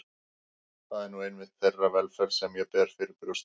Það er nú einmitt þeirra velferð sem ég ber fyrir brjósti.